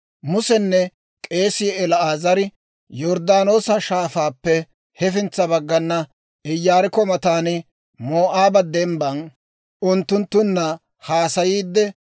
Musenne k'eesii El"aazari Yorddaanoosa Shaafaappe hefintsa baggana, Iyaarikko matan, Moo'aaba Dembban unttunttunna haasayiidde,